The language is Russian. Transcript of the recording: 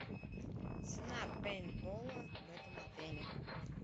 цена пейнтбола в этом отеле